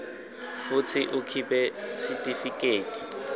futsi ukhiphe sitifiketi